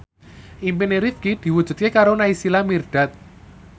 impine Rifqi diwujudke karo Naysila Mirdad